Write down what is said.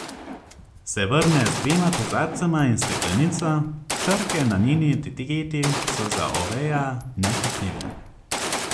Se vrne z dvema kozarcema in steklenico, črke na njeni etiketi so za Oveja nečitljive.